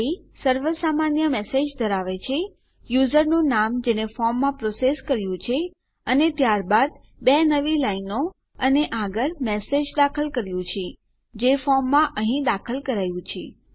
તો બોડી સર્વસામાન્ય મેસેજ ધરાવે છે યુઝર નું નામ જેને ફોર્મમાં પ્રોસેસ કર્યું છે અને ત્યારબાદ બે નવી લાઈનો અને આગળ મેસેજ દાખલ કર્યું છે જે ફોર્મમાં અહીં દાખલ કરાયું છે